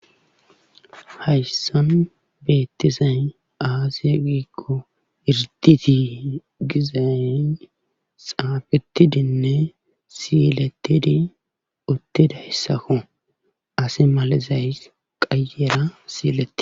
Hayssan beettizay aaze giikko irdditi gizay xaafettidinne siilettidi uttidayssako ase malizay qeyyera.